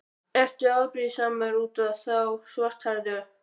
Ertu afbrýðisamur út í þá svarthærðu?